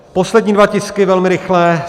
Poslední dva tisky velmi rychle.